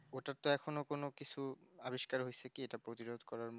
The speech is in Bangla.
ওটার তো এখনো কোনো কিছু আবিষ্কার হচ্ছে কি ওটার প্রতিরোধ করার মত